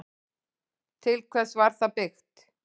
Til hvers var það byggt?